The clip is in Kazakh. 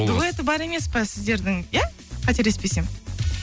дуэті бар емес пе сіздердің иә қателеспесем